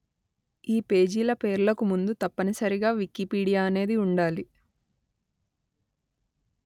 ఈ పేజీల పేర్లకు ముందు తప్పనిసరిగా వికీపీడియా అనేది ఉండాలి